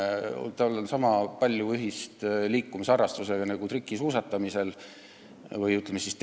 Trikisuusatamisel ei ole tervise edendamisega ja liikumisharrastusega kuigi palju ühist.